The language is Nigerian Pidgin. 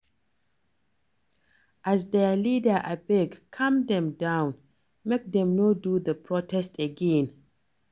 As their leader abeg calm dem down make dem no do the protest again